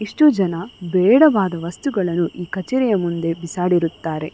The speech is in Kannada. ಇಷ್ಟು ಜನ ಬೇಡವಾದ ವಸ್ತು ಗಳ್ಳನ್ನು ಈ ಕಚೇರಿಯ ಮುಂದೆ ಬಿಸಾಡಿರುತ್ತಾರೆ --